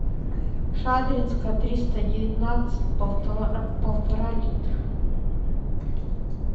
шадринская триста девятнадцать полтора литра